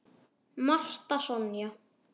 Marta Sonja.